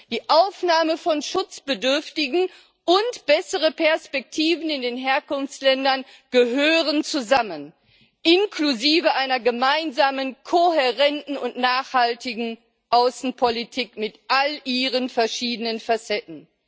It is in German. Die Aufnahme von Schutzbedürftigen und bessere Perspektiven in den Herkunftsländern gehören zusammen, inklusive einer gemeinsamen kohärenten und nachhaltigen Außenpolitik mit all ihren verschiedenen Facetten.